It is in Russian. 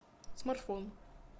смартфон